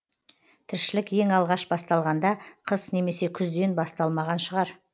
тіршілік ең алғаш басталғанда қыс немесе күзден басталмаған шығар